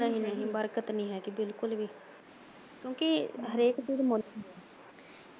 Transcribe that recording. ਨਹੀਂ ਨਹੀਂ ਬਰਕਤ ਨੀ ਹੈਗੀ ਬਿਲਕੁਲ ਵੀ ਕਿਉਕਿ ਹਰੇਕ ਚੀਜ਼ ਮੁੱਲ।